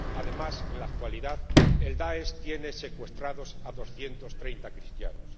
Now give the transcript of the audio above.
Además, en la actualidad, el Daesh tiene secuestrados a doscientos treinta cristianos.